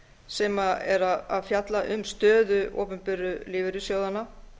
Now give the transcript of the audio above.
sem er að fjalla um stöðu opinberu lífeyrissjóðanna